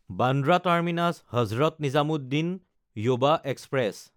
Bandra টাৰ্মিনাছ–হজৰত Nizamuddin যুৱা express